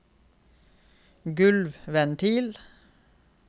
gulvventil